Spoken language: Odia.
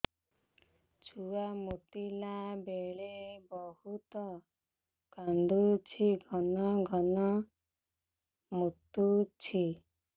ଛୁଆ ମୁତିଲା ବେଳେ ବହୁତ କାନ୍ଦୁଛି ଘନ ଘନ ମୁତୁଛି